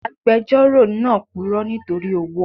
Agbejoro náà puro nítorí owó.